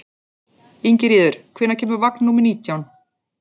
Ingiríður, hvenær kemur vagn númer nítján?